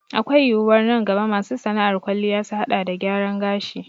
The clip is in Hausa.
Akwai yiwuwar nan gaba masu sana'ar kwalliya su haɗa da gyaran gashi